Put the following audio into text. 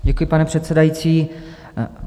Děkuji, pane předsedající.